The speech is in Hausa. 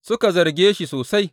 Suka zarge shi sosai.